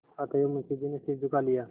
अतएव मुंशी जी ने सिर झुका लिया